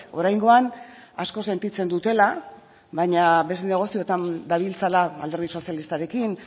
oraingoan asko sentitzen dutela baina beste negozioetan dabiltzala alderdi sozialistarekin